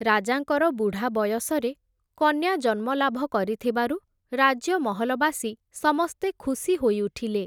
ରାଜାଙ୍କର ବୁଢ଼ା ବୟସରେ, କନ୍ୟା ଜନ୍ମ ଲାଭ କରିଥିବାରୁ, ରାଜ୍ୟମହଲବାସୀ, ସମସ୍ତେ ଖୁସି ହୋଇଉଠିଲେ ।